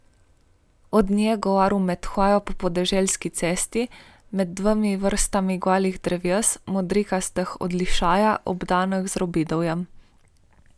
O njej je govoril med hojo po podeželski cesti, med dvema vrstama golih dreves, modrikastih od lišaja, obdanih z robidovjem.